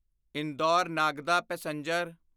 Indore Nagda passenger